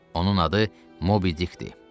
Onun adı Mobidik idi.